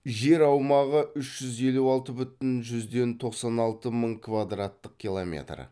жер аумағы үш жүз елу алты бүтін жүзден тоқсан алты мың квадраттық километр